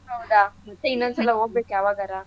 ಹೌದಾ ಮತ್ತೇ ಇನ್ನೊಂದ ಸಲ ಹೋಗ್ಬೇಕು ಯಾವಾಗರ.